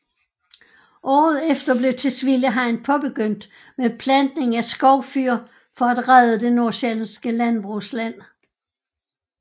Året efter blev Tisvilde Hegn påbegyndt med plantning af skovfyr for at redde det nordsjællandske landbrugsland